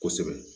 Kosɛbɛ